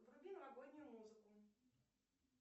вруби новогоднюю музыку